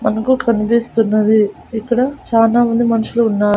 మనకు కనిపిస్తున్నది ఇక్కడ చానా మంది మనుషులు ఉన్నార్--